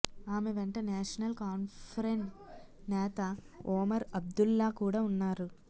ఆమె వెంట national conference నేత ఒమర్ అబ్దుల్లా కూడా ఉన్నారు